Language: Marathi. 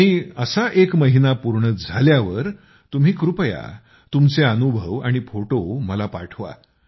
आणि असा एक महिना पूर्ण झाल्यावर तुम्ही कृपया आपले अनुभव आणि फोटो मला पाठवा